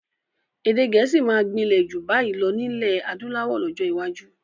Èdè gẹ̀ẹ́sì máa gbinlẹ ju bayi lọ nilẹ adúláwọ̀ lọ́jọ́ iwájú